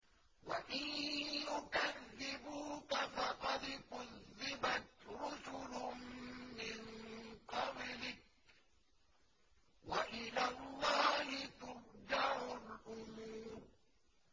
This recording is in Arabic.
وَإِن يُكَذِّبُوكَ فَقَدْ كُذِّبَتْ رُسُلٌ مِّن قَبْلِكَ ۚ وَإِلَى اللَّهِ تُرْجَعُ الْأُمُورُ